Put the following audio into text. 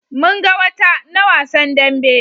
mun ga wata na wasan dambe